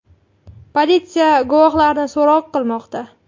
Politsiya guvohlarni so‘roq qilmoqda.